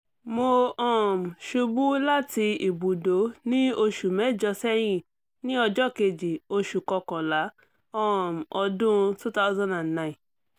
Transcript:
mo um ṣubu lati ibùdó ni oṣu mẹjọ sẹyin ni ọjọ́ kejì oṣù kọkànlá um ọdún two thousand and nine